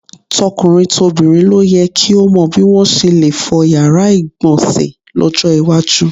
To̩kùnrin tobìnrin ló ye̩ ki ó mo̩ bí wo̩n s̩e le fo̩ yàrá ìgbò̩nsè̩ ló̩jó̩ iwájú.